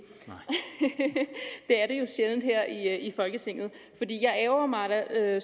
er det jo sjældent her i folketinget jeg ærgrer mig da